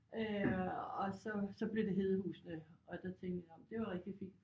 Øh og så så blev det Hedehusene og der tænkte jeg nåh men det jo rigtig fint